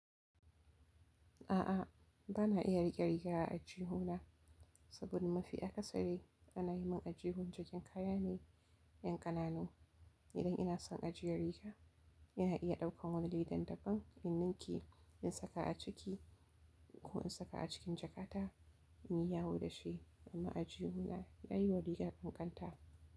A'a, ba na iya riƙe riga a aljihu na, saboda mafi a kasari ana yi min aljihun jikin kaya ne 'yan ƙananu. Idan ina son ajiyar riga, ina iya ɗaukan wani ledan daban in ninke in saka a ciki ko in saka a cikin jakata in yi yawo da shi. Amma aji huna ya yi wa rigan ƙanƙanta.